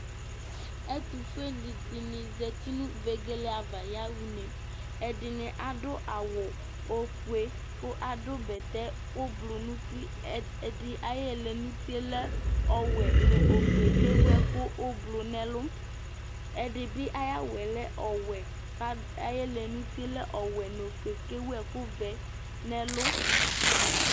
ɛto fue ni di ni zati no vegele ava ya ɣa une ɛdini adu awu ofue kò adu bɛtɛ ublu n'uti ɛdi ayi ɛlɛnuti yɛ lɛ ɔwɛ no ofue k'ewu ɛkò ublu n'ɛlu ɛdi bi ayi awu yɛ lɛ ɔwɛ k'adu ayi ɛlɛnuti yɛ lɛ ɔwɛ n'ofue k'ewu ɛkò vɛ n'ɛlu